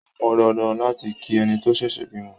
Ó pọn dandan láti kí ẹni tó ṣẹ̀ṣẹ̀ bímọ.